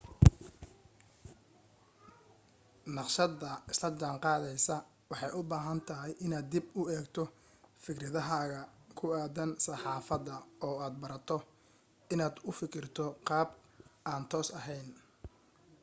naqshada isla jaanqaadaysa waxay u baahan tahay inaad dib u eegto fikradahaaga ku aaddan saxaafada oo aad barato inaad u fikirto qaab aan toos ahayn